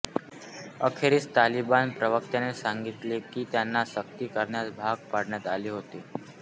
अखेरीस तालिबान प्रवक्त्याने सांगितले की त्यांना सक्ती करण्यास भाग पाडण्यात आले होते